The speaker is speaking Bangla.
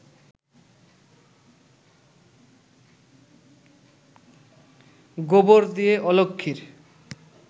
গোবর দিয়ে অলক্ষ্মীর